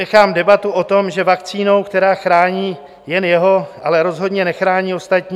Vynechám debatu o tom, že vakcínou, která chrání jen jeho, ale rozhodně nechrání ostatní.